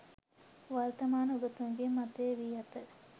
වර්තමාන උගතුන්ගේ මතය වී ඇත.